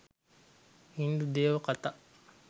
හින්දු දේව කතා